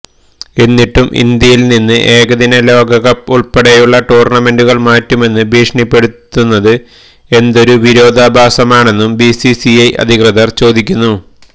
എന്നിട്ടും ഇന്ത്യയിൽനിന്ന് ഏകദിന ലോകകപ്പ് ഉൾപ്പെടെയുള്ള ടൂർണമെന്റുകൾ മാറ്റുമെന്ന് ഭീഷണിപ്പെടുത്തുന്നത് എന്തൊരു വിരോധാഭാസമാണെന്നും ബിസിസിഐ അധികൃതർ ചോദിക്കുന്നു